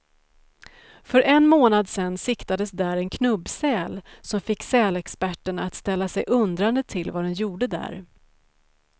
För en månad sedan siktades där en knubbsäl, som fick sälexperterna att ställa sig undrande till vad den gjorde där.